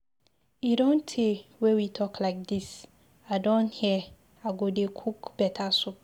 E don tey wey we talk like dis, I don hear, I go dey cook better soup.